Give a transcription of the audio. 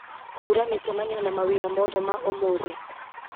hura mĩcemanio na mawĩra mothe ma ũmũthĩ